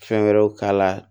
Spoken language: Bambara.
Fɛn wɛrɛw k'a la